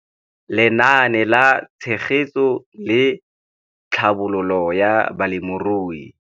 Lenaane la Tshegetso le Tlhabololo ya Balemirui